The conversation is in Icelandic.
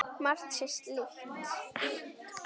Margt sé líkt.